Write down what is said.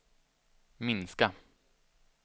minska